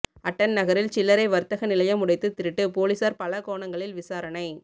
attend நகரில் சில்லறை வர்த்தக நிலையம் உடைத்து திருட்டு பொலிஸார் பல கோணங்களில் விசாரணை